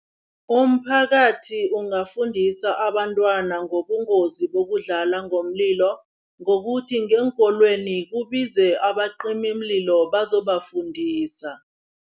Umphakathi ungafundisa abantwana ngobungozi bokudlala ngomlilo, ngokuthi ngeenkolweni kubize abacimimlilo bazobafundisa.